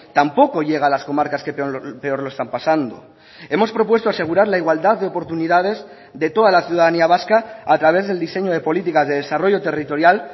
tampoco llega a las comarcas que peor lo están pasando hemos propuesto asegurar la igualdad de oportunidades de toda la ciudadanía vasca a través del diseño de políticas de desarrollo territorial